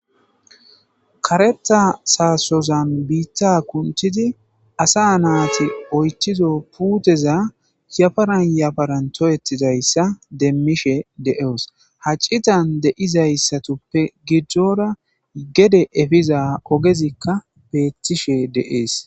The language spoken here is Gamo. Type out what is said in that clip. Karetha sasoza kunthada asa nati oythido putteza yaparan yaparan toketidaysa demishe de'os hacitan de'izasappe gidora epizaysappe ogezika bettishe de'es